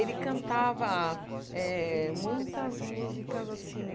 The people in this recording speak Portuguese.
Ele cantava eh muitas músicas, assim,